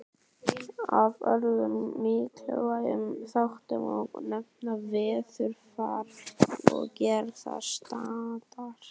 Af öðrum mikilvægum þáttum má nefna veðurfar og gerð strandar.